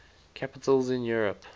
capitals in europe